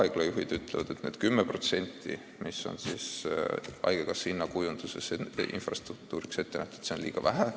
Haiglajuhid ütlevad, et see 10%, mis on haigekassa hinnamudelis infrastruktuuriks ette nähtud, on liiga vähe.